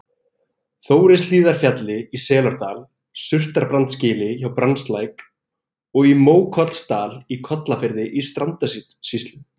Þórishlíðarfjalli í Selárdal, Surtarbrandsgili hjá Brjánslæk og í Mókollsdal í Kollafirði í Strandasýslu.